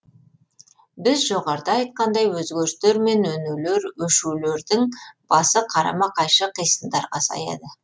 біз жоғарыда айтқандай өзгерістер мен өнулер өшулердің басы қарама қайшы қисындарға саяды